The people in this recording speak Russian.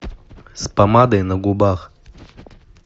с помадой на губах